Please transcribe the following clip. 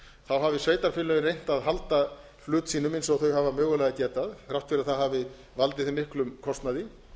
þá hafi sveitarfélögin reynt að halda hlut sínum eins og þau hafa mögulega getað þrátt fyrir að það hafi valdið þeim miklum kostnaði það er